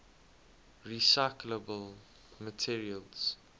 recyclable materials